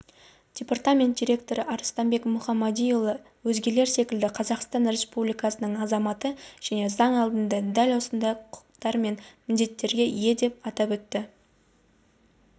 департамент директоры арыстанбек мұхамадиұлы өзгелер секілді қазақстан републикасының азаматы және заң алдында дәл осындай құқықтар мен міндеттерге ие деп атап өтті